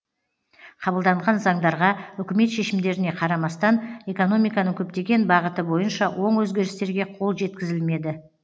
қабылданған заңдарға үкімет шешімдеріне қарамастан экономиканың көптеген бағыты бойынша оң өзгерістерге қол жеткізілмеді